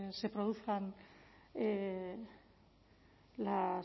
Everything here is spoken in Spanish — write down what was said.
se produzcan